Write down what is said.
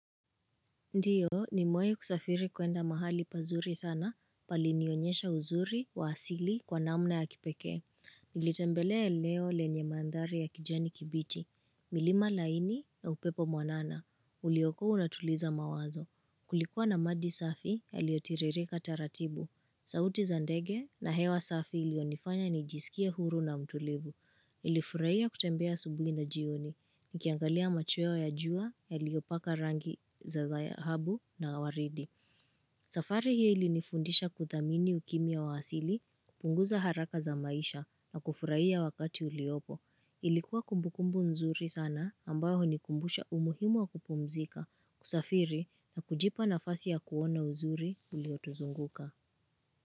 Ndio, nimewahi kusafiri kuenda mahali pazuri sana, palinionyesha uzuri wa asili kwa namna ya kipekee. Nilitembelea eneo lenye mandhari ya kijani kibichi. Milima laini na upepo mwanana. Ulikokuwa unatuliza mawazo. Kulikuwa na maji safi yaliyo tiririka taratibu. Sauti za ndege na hewa safi ilionifanya nijisikia huru na mtulivu. Nilifurahia kutembea asubuhi na jioni. Nikiangalia machweo ya jua yaliyopaka rangi za zahabu na waridi. Safari hili ilinifundisha kuthamini ukimya wa hasili kupunguza haraka za maisha na kufurahia wakati uliopo. Ilikuwa kumbukumbu nzuri sana ambayo unikumbusha umuhimu wa kupumzika kusafiri na kujipa nafasi ya kuona uzuri uliotuzunguka.